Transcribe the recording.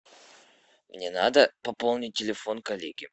мне надо пополнить телефон коллеги